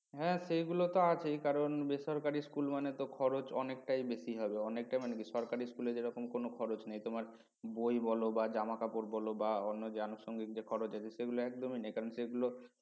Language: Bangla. হ্যাঁ সেগুলো তো আছেই কারণ বেসরকারি school মানে তো খরচ অনেকটাই বেশি হবে অনেকটাই মানে কি সরকারি school এ যেরকম কোনো খরচ নেই তোমার বই বল বা জামাকাপড় বল বা অন্য যে আনুষঙ্গিক যে খরচ আছে সেগুলো একদমই নেই কারণ সেগুলো